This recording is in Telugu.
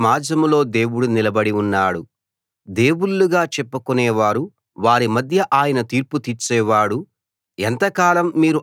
దివ్య సమాజంలో దేవుడు నిలబడి ఉన్నాడు దేవుళ్ళగా చెప్పుకొనేవారు వారి మధ్య ఆయన తీర్పు తీర్చేవాడు